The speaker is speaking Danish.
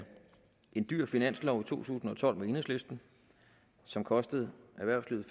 en dyr finanslov tusind og tolv med enhedslisten som kostede erhvervslivet